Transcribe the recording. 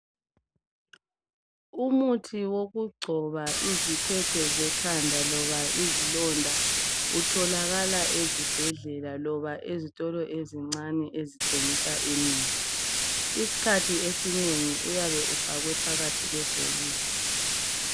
Umuthi wokugcoba izikhwekhwe zekhanda loba izilonda utholakala ezibhedlela loba ezitolo ezincane ezithengisa imithi. Iskhathi esinengi uyabe ufakwe phakathi kwebhokisi.